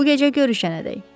Bu gecə görüşənədək.